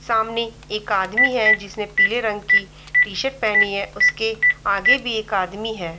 सामने एक आदमी है जिंसने पीले रंग की टी-शर्ट पहनी है उसके आगे भी एक आदमी है।